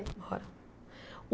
Moram. O